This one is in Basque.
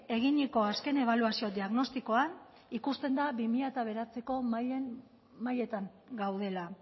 eginiko azken ebaluazio diagnostikoan ikusten da bi mila bederatziko mailetan gaudela